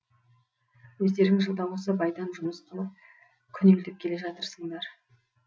өздерің жылда осы байдан жұмыс қылып күнелтіп келе жатырсыңдар